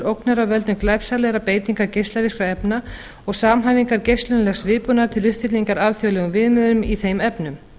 ógnar af völdum glæpsamlegrar beitingar geislavirkra efna og samhæfingar geislunarlegs viðbúnaðar til uppfyllingar alþjóðlegum viðmiðum í þeim efnum